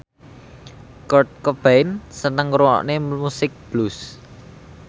Kurt Cobain seneng ngrungokne musik blues